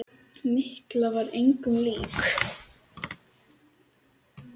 Mikka var engum lík.